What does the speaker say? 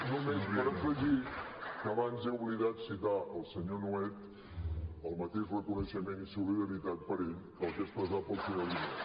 només per afegir que abans he oblidat citar el senyor nuet el mateix reconeixement i solidaritat per a ell que el que he expressat per al senyor guinó